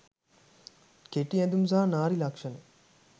කෙටි ඇඳුම් සහ නාරි ලක්ෂණ